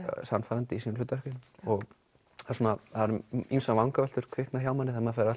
sannfærandi í sínum hlutverkum það eru ýmsar vangaveltur sem kvikna hjá manni þegar maður fer